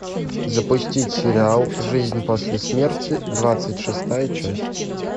запустить сериал жизнь после смерти двадцать шестая часть